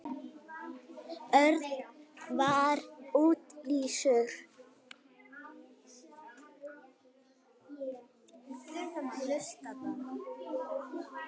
Örn var niðurlútur.